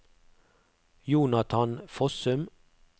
Jonathan Fossum